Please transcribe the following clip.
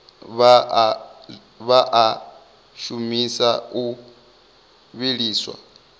vha a shumisa o vhiliswa